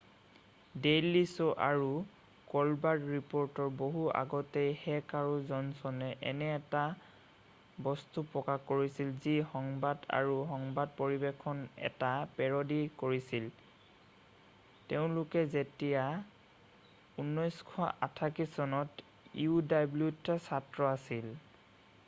Daily show আৰু Colbert ৰিপ'ৰ্টৰ বহু আগতেই হেক আৰু জনচনে এনে এটা বস্তু প্ৰকাশ কৰিছিল যি সংবাদ—আৰু সংবাদ পৰিৱেশনৰ এটা পেৰডি কৰিছিল—তেওঁলোক যেতিয়া ১৯৮৮ চনত uwত ছাত্ৰ আছিল।